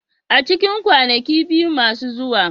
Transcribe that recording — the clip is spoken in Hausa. A cikin kwanaki biyu masu zuwa.